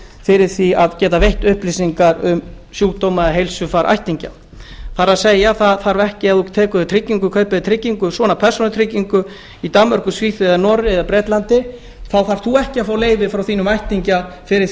fyrir því að geta veitt upplýsingar um sjúkdóma eða heilsufar ættingja það er ef maður kaupir sér svona persónutryggingu í danmörku svíþjóð noregi eða bretlandi þarf maður ekki að fá leyfi frá ættingjum fyrir